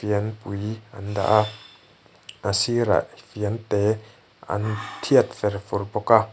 fianpui an daha a sirah fiante an thiat ferfur bawk a.